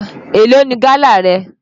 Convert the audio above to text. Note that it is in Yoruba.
Èló ni gálà rẹ?